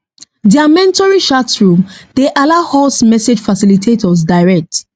dia mentoring chatroom dey allow us message facilitators direct